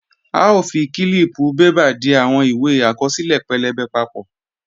A ó fi kílíìpù bébà di àwọn ìwé àkọsílẹ̀ pẹlẹbẹ papọ̀